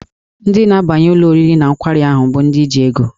Ndị na-abanye n'ụlọ oriri na nkwari ahụ bụ ndị ji ego.